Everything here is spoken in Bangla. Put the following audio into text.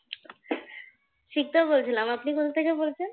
সিক্ত বলছিলাম, আপনি কোথা থেকে বলছেন?